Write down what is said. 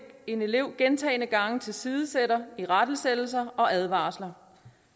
en elev gentagne gange tilsidesætter irettesættelser og advarsler